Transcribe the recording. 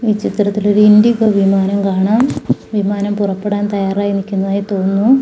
ഈ ചിത്രത്തില് ഒരു ഇൻഡിഗോ വിമാനം കാണാം വിമാനം പുറപ്പെടാൻ തയ്യാറായി നിക്കുന്നതായി തോന്നുന്നു.